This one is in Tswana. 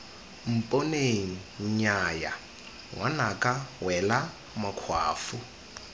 mponeng nnyaya ngwanaka wela makgwafo